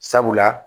Sabula